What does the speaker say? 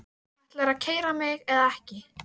Ætlarðu að keyra mig eða ekki?